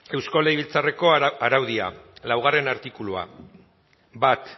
eusko legebiltzarrako araudia laugarrena artikulua bat